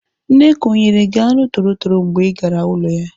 Nneka ọ nyere gị anụ torotoro mgbe ị gara ụlọ ya?